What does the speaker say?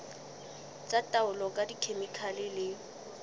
tsa taolo ka dikhemikhale le